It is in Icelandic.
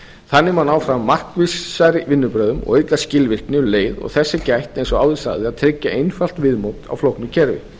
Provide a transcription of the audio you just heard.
þannig má ná fram markvissari vinnubrögðum og auka skilvirkni um leið og þess er gætt eins og áður sagði að tryggja einfalt viðmót á flóknu kerfi